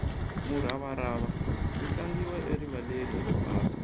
muravarava wu tlangiwa erivaleni ro basa